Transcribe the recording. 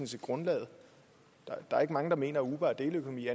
set grundlaget der er ikke mange der mener at uber er deleøkonomi